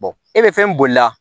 e bɛ fɛn boli la